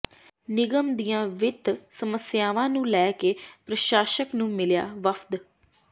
ਨਿਗਮ ਦੀਆਂ ਵਿੱਤ ਸਮੱਸਿਆਵਾਂ ਨੂੰ ਲੈ ਕੇ ਪ੍ਰਸ਼ਾਸ਼ਕ ਨੂੰ ਮਿਲਿਆ ਵਫ਼ਦ